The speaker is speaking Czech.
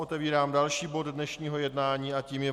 Otevírám další bod dnešního jednání a tím je